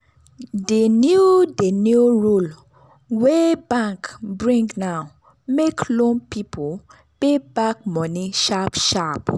di new di new rule wey bank bring now make loan people pay back money sharp sharp.